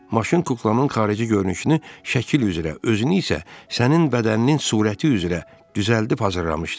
Maşın kuklamın xarici görünüşünü şəkil üzrə, özünü isə sənin bədəninin surəti üzrə düzəldib hazırlamışdı.